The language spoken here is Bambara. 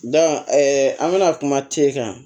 an bɛna kuma t'e kan